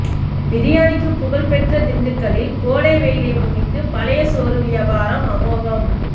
பிரியாணிக்கு புகழ்பெற்ற திண்டுக்கல்லில் கோடை வெயிலை முன்னிட்டு பழைய சோறு வியாபாரம் அமோகம்